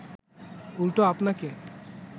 উল্টো আপনাকে